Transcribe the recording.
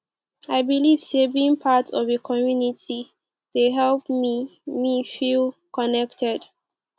i believe say being part of a community dey help me me feel connected